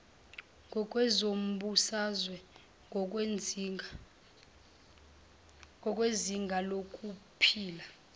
ngokwezombusazwe ngokwezinga lokuphila